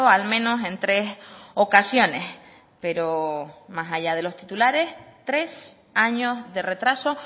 al menos en tres ocasiones pero más allá de los titulares tres años de retraso